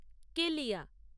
কেলিয়া